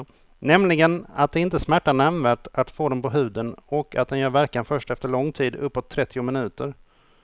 Nämligen att det inte smärtar nämnvärt att få den på huden och att den gör verkan först efter lång tid, uppåt trettio minuter.